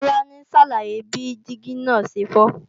Tolani ń ṣàlàyé bí dígí náà ṣe fọ́